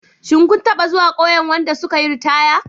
Shin kun taɓa zuwa ƙauyen wadda suka yi ritaya?